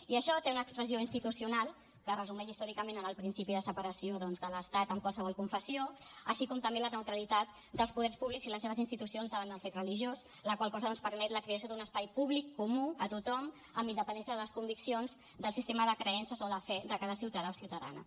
i això té una expressió institucional que es resumeix històricament en el principi de separació doncs de l’estat de qualsevol confessió així com també la neutralitat dels poders públics i les seves institucions davant del fet religiós la qual cosa permet la creació d’un espai públic comú a tothom amb independència de les conviccions del sistema de creences o de fe de cada ciutadà o ciutadana